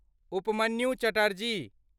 Upmanyu Chatterji